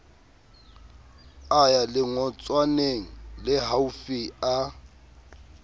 a ya lengotswaneng lehaufi a